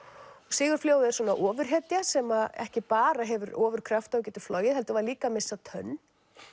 Sigurfljóð er ofurhetja sem ekki bara hefur ofurkrafta og getur flogið heldur var líka að missa tönn